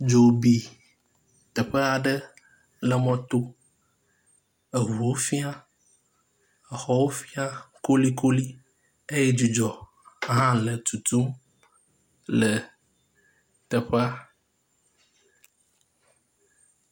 Dzo bi teƒea ɖe le mɔto. Eŋuwo fia, exɔwo fia kolikoli eye dzudzɔ hã le tutum le teƒea.